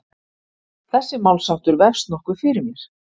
Þessi málsháttur vefst nokkuð fyrir mér.